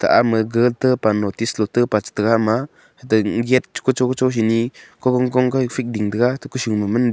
ama ga te pa notice lo te pa cha taiga ama hate gate kocho kocho se nyi kohong kohong ka ekphet ding te ga to kosho ma man ding.